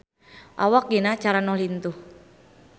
Awak Gina Carano lintuh